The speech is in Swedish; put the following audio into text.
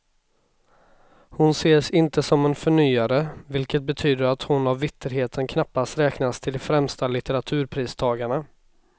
Hon ses inte som en förnyare, vilket betyder att hon av vitterheten knappast räknas till de främsta litteraturpristagarna.